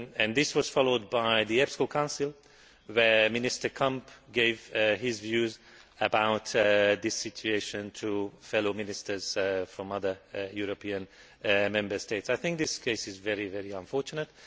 This was followed by the EPSCO Council where Minister Kamp gave his views about this situation to fellow ministers from other European Member States. I think this case is very, very unfortunate.